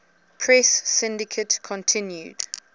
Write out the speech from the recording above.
press syndicate continued